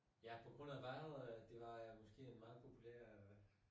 Ja på grund af vandet øh det var måske en meget god plan øh